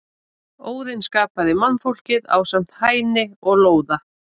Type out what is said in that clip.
Óðinn skapaði mannfólkið ásamt Hæni og Lóða.